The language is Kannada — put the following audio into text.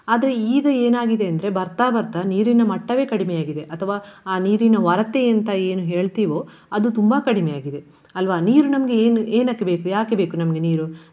ಆದ್ರೆ ಈಗ ಏನಾಗಿದೆ ಅಂದ್ರೆ ಬರ್ತಾ ಬರ್ತಾ ನೀರಿನ ಮಟ್ಟವೇ ಕಡಿಮೆ ಆಗಿದೆ. ಅಥವಾ ಆ ನೀರಿನ ವರತೆಯೆಂತ ಏನು ಹೇಳ್ತೀವೋ ಅದು ತುಂಬಾ ಕಡಿಮೆಯಾಗಿದೆ ಅಲ್ವಾ. ನೀರು ನಮ್ಗೆ ಏನು ಏನಕ್ಕೆ ಬೇಕು ಯಾಕೆ ಬೇಕು ನಮ್ಗೆ ನೀರು.